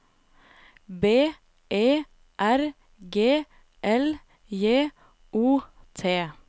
B E R G L J O T